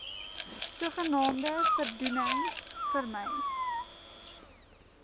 sogenaamde voordoening vermy